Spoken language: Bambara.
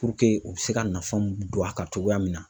u bɛ se ka nafa mun don a kan cogoya min na.